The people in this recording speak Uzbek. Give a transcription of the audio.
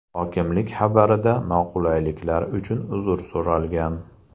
Hokimlik xabarida noqulayliklar uchun uzr so‘ralgan.